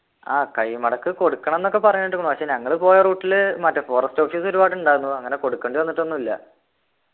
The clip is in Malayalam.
ആഹ് കൈമടക്ക് കൊടുക്കണംന്നൊക്കെ പറയുന്ന കേട്ടു പക്ഷെ ഞങ്ങള് പോയ route ൽ മറ്റേ forest office ഒരുപാട് ഉണ്ടായിരുന്നു അങ്ങനെ കൊടുക്കേണ്ടി വന്നിട്ടൊന്നു ഇല്ല